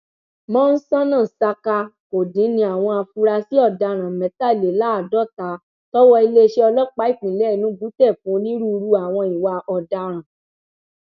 mọńsónà saka kò dín ní àwọn afurasí ọdaràn mẹtàléláàádọta tọwọ iléeṣẹ ọlọpàá ìpínlẹ enugu tẹ fún onírúurú àwọn ìwà ọdaràn